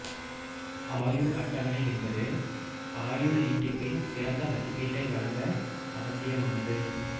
ஆயுள் அட்டவணை என்பது ஆயுள் நீட்டிப்பின் சிறந்த மதிப்பீட்டை வழங்க அவசியமானது